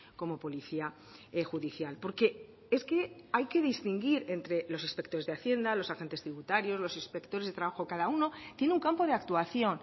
como policía judicial porque es que hay que distinguir entre los inspectores de hacienda los agentes tributarios los inspectores de trabajo cada uno tiene un campo de actuación